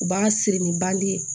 U b'a siri ni bange